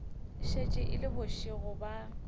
šetše e le bošego ba